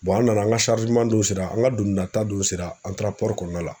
an nana an ŋa don sera, an ŋa dugunata don sera an taara kɔɔna la.